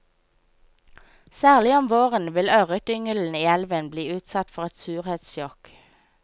Særlig om våren vil ørretyngelen i elven bli utsatt for et surhetssjokk.